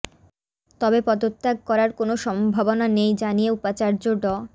তবে পদত্যাগ করার কোনো সম্ভাবনা নেই জানিয়ে উপাচার্য ড